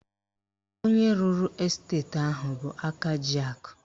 Onye rụrụ esteti ahụ bụ aka ji akụ